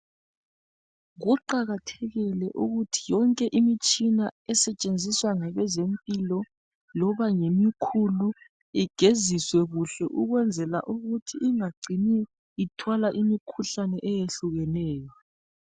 Kuqakathekile ukuthi yonke imitshina esetshenziswa ngabezempilo loba ngemikhulu igeziswe kuhle ukwenzela ukuthi ingacini ithwala imikhuhlane eyehlukeneyo.